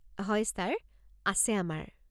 হয় ছাৰ, আছে আমাৰ।